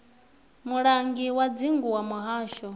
mulangi wa dzingu wa muhasho